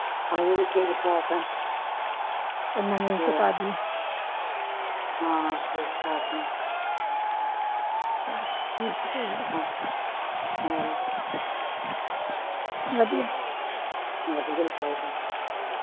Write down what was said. ਵਧੀਆਂ ਹੀ ਚਾਹੀਦਾ